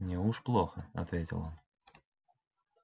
неуж плохо ответил он